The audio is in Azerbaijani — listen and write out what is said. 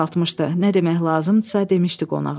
Nə demək lazımdısa, demişdi qonağa.